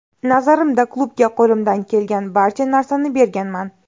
Nazarimda, klubga qo‘limdan kelgan barcha narsani berganman”.